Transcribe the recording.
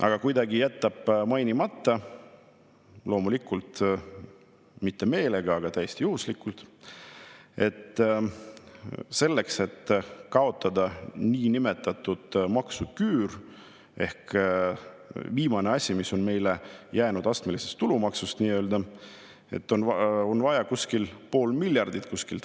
Aga ta jätab mainimata – loomulikult mitte meelega, vaid täiesti juhuslikult –, et selleks, et kaotada niinimetatud maksuküür ehk viimane asi, mis on meile jäänud astmelisest tulumaksust, on vaja kuskilt võtta pool miljardit.